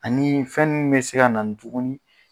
Ani fɛn min bɛ se na tuguni